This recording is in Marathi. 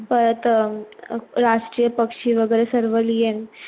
परत अं राष्ट्रीय पक्षी वगैरे सर्व लिहिण